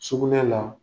Sugunɛ la